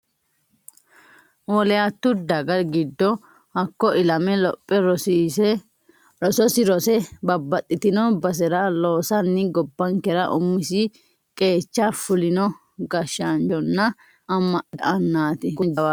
Woliyatu daga giddo hakko ilame lophe rososi rose babbaxxitino basera loosanni gobbankera umisi qeecha fulino gashshaanchonna ama'note annati kuni jawaatu.